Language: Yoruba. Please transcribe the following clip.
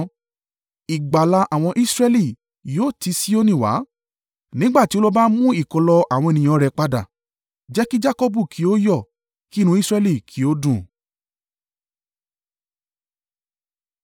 Ìgbàlà àwọn Israẹli yóò ti Sioni wá! Nígbà tí Olúwa bá mú ìkólọ àwọn ènìyàn rẹ̀ padà, jẹ́ kí Jakọbu kí ó yọ̀, kí inú Israẹli kí ó dùn!